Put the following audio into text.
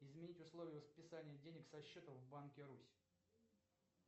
изменить условия списания денег со счета в банке русь